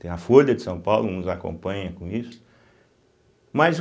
Tem a Folha de São Paulo, nos acompanha com isso. Mas o